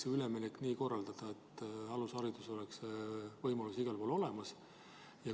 Teie olete praegu minister ja vastutate selle valdkonna eest.